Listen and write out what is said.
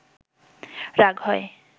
রাগ হয়